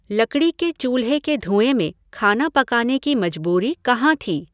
लकड़ी के चूल्हे के धुएं में खाना पकाने की मजबूरी कहाँ थी?